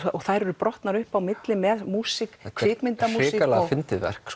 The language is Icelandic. þær eru brotnar upp á milli með músík kvikmyndamúsík hrikalega fyndið verk